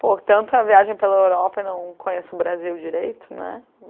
Pô, tanta viagem pela Europa e não conheço o Brasil direito, né?